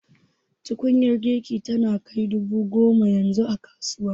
Tukunyar girki tana kai dubu goma yanzu a kasuwa